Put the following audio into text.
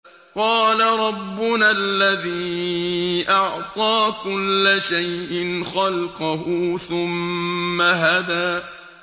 قَالَ رَبُّنَا الَّذِي أَعْطَىٰ كُلَّ شَيْءٍ خَلْقَهُ ثُمَّ هَدَىٰ